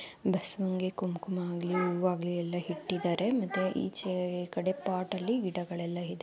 ಶಬಸವನಿಗೆ ಕುಂಕುಮ ಆಗಲಿ ಹೂವ್ಎ ಆಗ್ಲಿ ಎಲ್ಲಾ ಇಟ್ಟಿದಾರೆ ಮತ್ತೆ ಈಚೆ ಕಡೆ ಪಾಟಲ್ಲಿ ಗಿಡಗಳೆಲ್ಲ ಇದೆ.